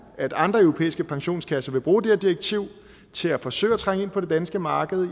at andre europæiske pensionskasser vil bruge det her direktiv til at forsøge at trænge ind på det danske marked